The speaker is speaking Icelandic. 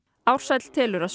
Ársæll telur að